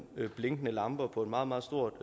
blinkende lamper på en meget meget stor